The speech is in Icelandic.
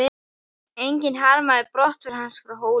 Enginn harmaði brottför hans frá Hólum.